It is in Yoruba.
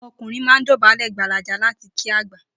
O̩mo̩kùnrin máa ń dò̩bálè̩ gbalaja láti kí àgbà